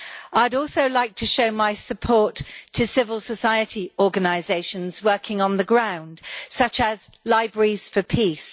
I'd also like to show my support for civil society organisations working on the ground, such as libraries for peace.